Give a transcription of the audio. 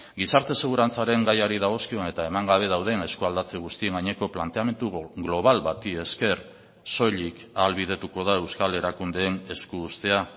gizarte segurantzaren gaiari dagozkion eta eman gabe dauden eskualdatze guztien gaineko planteamendu global bati esker soilik ahalbidetuko da euskal erakundeen esku uztea